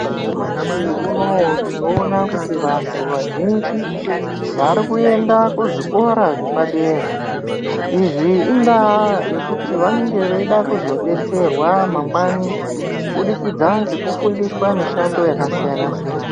Nyamashi unoou tinoona kuti vanthu vazhinji varikuenda kuzvikora zvepadera. Izvi ,indaa yekuti vanenge veida kuzodetserwa mangwani kubudikidza ngekufundiswa mishando yakasiyana siyana.